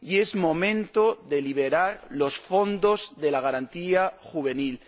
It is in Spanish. Es momento de liberar los fondos de la garantía juvenil.